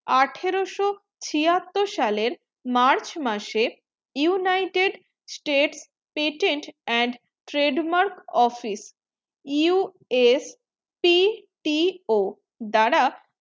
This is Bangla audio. আঠারো সো ছিয়াত্তর সালে march মাসের united state patent and trade mark office USPTO দ্বারা